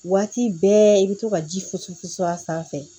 Waati bɛɛ i bɛ to ka ji fusu fu a sanfɛ